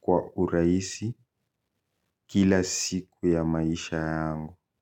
kwa uraisi kila siku ya maisha yangu.